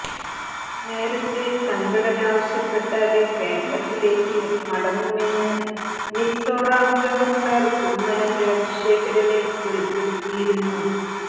നേരത്തെ സംഘടന ആവശ്യപ്പെട്ടാല് കേരളത്തിലേക്ക് മടങ്ങുമെന്ന് മിസോറാം ഗവര്ണര് കുമ്മനം രാജശേഖന് വെളിപ്പെടുത്തിയിരുന്നു